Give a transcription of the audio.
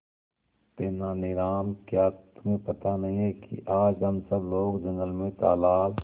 तेनालीराम क्या तुम्हें पता नहीं है कि आज हम सब लोग जंगल में तालाब